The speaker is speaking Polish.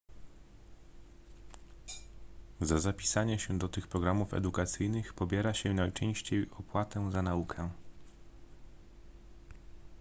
za zapisanie się do tych programów edukacyjnych pobiera się najczęściej opłatę za naukę